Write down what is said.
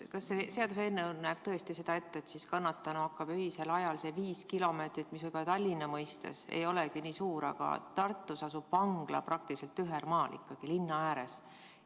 Kas see seaduseelnõu näeb tõesti ette, et kannatanu hakkab öisel ajal läbima seda viit kilomeetrit, mis võib-olla Tallinna mõistes ei olegi nii suur vahemaa, aga Tartus asub vangla praktiliselt tühermaal, linna ääres.